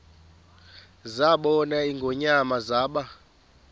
zabona ingonyama zaba